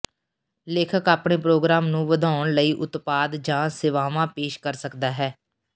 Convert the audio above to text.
ਲੇਖਕ ਆਪਣੇ ਪ੍ਰੋਗਰਾਮ ਨੂੰ ਵਧਾਉਣ ਲਈ ਉਤਪਾਦ ਜਾਂ ਸੇਵਾਵਾਂ ਪੇਸ਼ ਕਰ ਸਕਦਾ ਹੈ